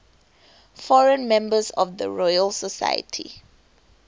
foreign members of the royal society